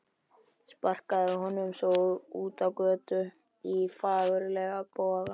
Sparkaði honum svo út á götu í fagurlegum boga.